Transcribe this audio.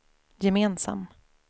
gemensam